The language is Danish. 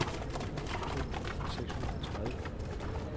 to tusind seks hundrede og tredive